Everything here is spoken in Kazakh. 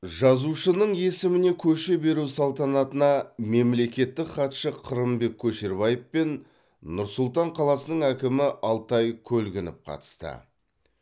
жазушының есіміне көше беру салтанатына мемлекеттік хатшы қырымбек көшербаев пен нұр сұлтан қаласының әкімі алтай көлгінов қатысты